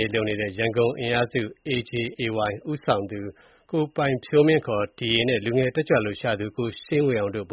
းလုပ်နေတဲ့ ရန်ကုန်အင်အားစု (Anti-Junta Alliance Yangon – AJAY) ဦးဆောင်သူ ကိုပိုင်ဖြိုးမင်း ခေါ် ဒီရေနဲ့ လူငယ် တက်ကြွ လှုပ်ရှားသူ ကိုရှိန်းဝေအောင်တို့ ဗ